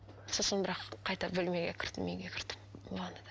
сосын бірақ қайта бөлмеге кірдім үйге кірдім ванныйдан